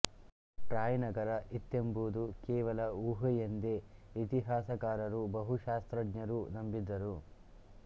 TRAI ನಗರ ಇತ್ತೆಂಬುದು ಕೇವಲ ಊಹೆಯೆಂದೇ ಇತಿಹಾಸಕಾರರೂ ಭಾಷಾಶಾಸ್ತ್ರಜ್ಞರೂ ನಂಬಿದ್ದರು